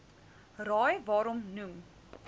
raai waarom noem